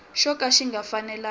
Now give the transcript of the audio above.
xo ka xi nga fanelangi